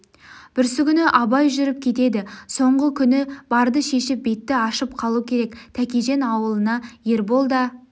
бүрсігүні абай жүріп кетеді соңғы күні барды шешіп бетті ашып қалу керек тәкежан аулына ербол да